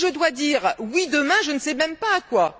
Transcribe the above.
Moi, si je dois dire oui demain, je ne sais même pas à quoi.